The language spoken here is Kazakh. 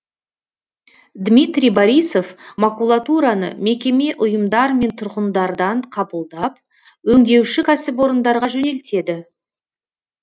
дмитрий борисов макулатураны мекеме ұйымдар мен тұрғындардан қабылдап өңдеуші кәсіпорындарға жөнелтеді